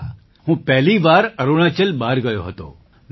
હા હું પહેલી વાર અરુણાચલ બહાર ગયો હતો